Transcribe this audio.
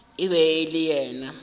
e be e le yena